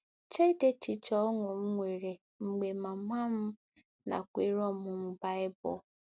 Cheedị echiche ọṅụ m nwere mgbe mama m nakweere ọmụmụ Baịbul